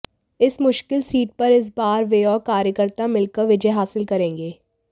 इस मुश्किल सीट पर इस बार वे और कार्यकर्ता मिलकर विजय हासिल करेंगे